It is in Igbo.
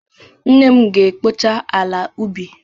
Nne m ga-ekpocha ala ubi.